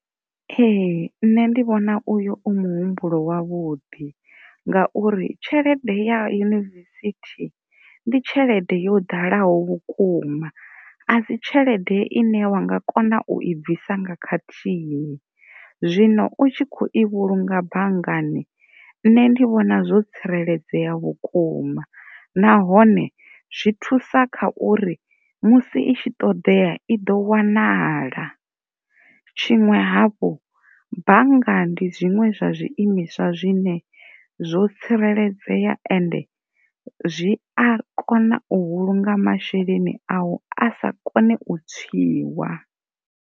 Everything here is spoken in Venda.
Ee, nṋe ndi vhona uyu u muhumbulo wavhuḓi ngauri tshelede ya yunivesithi ndi tshelede yo ḓalaho vhukuma a si tshelede ine wa nga kona u i bvisa nga khathihi zwino u tshi kho i vhulunga banngani nṋe ndi vhona zwo tsireledzea vhukuma, nahone zwi thusa kha uri musi i tshi ṱoḓea i ḓo wanala. Tshiṅwe hafhu bannga ndi zwiimiswa zwine zwo tsireledzea ende zwi a kona u vhulunga masheleni awu a sa kone u tswiwa.